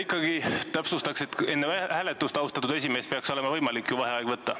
Ikkagi täpsustaks, et enne hääletust, austatud esimees, peaks olema võimalik ju vaheaega võtta.